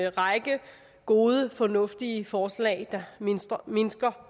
en række gode og fornuftige forslag der mindsker mindsker